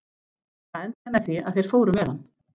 Það endaði með því að þeir fóru með hann.